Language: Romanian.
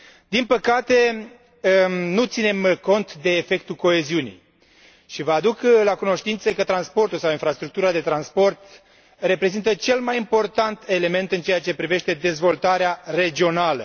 Din păcate, nu ținem cont de efectul coeziunii, și vă aduc la cunoștință că transportul sau infrastructura de transport reprezintă cel mai important element în ceea ce privește dezvoltarea regională.